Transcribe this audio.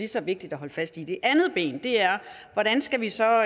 så vigtigt at holde fast i det andet ben er hvordan skal vi så